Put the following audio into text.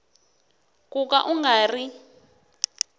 ku ka u nga ri